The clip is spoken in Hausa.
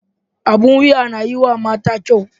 Abin wuya na yiwa mata kyau.